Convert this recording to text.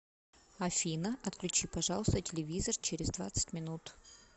афина отключи пожалуйста телевизор через двадцать минут